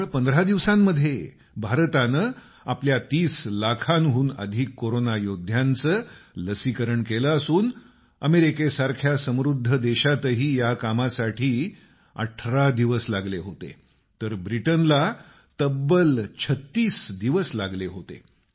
केवळ 15 दिवसांमध्ये भारतानं आपल्या 30 लाखांहून अधिक कोरोना योद्ध्यांचं लसीकरण केलं असून अमेरिकेसारख्या समृद्ध देशातही या कामासाठी 18 दिवस लागले होते तर ब्रिटनला तब्बल 36दिवस लागले होते